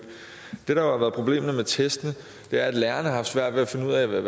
det der været problemet med testene er at lærerne har haft svært ved at finde ud af hvad